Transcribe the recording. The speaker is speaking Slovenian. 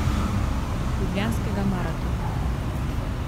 Ljubljanskega maratona.